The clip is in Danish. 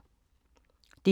DR1